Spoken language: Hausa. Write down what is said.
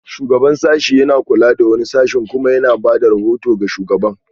Shugaban sashen yana kula da wani sashe kuma yana ba da rahoto ga shugaban